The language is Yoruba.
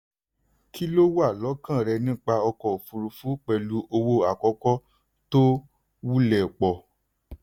kí lo wà lókàn rẹ nípa ọkọ̀ òfurufú pẹ̀lú owó àkọ́kọ́ tó wulẹ̀ pọ̀?